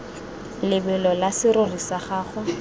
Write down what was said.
lebelo la serori sa gago